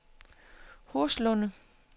Horslunde